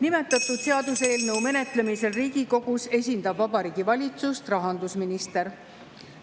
Nimetatud seaduseelnõu menetlemisel Riigikogus esindab Vabariigi Valitsust rahandusminister.